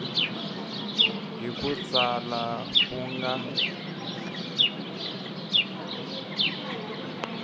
hi ku tsala ku nga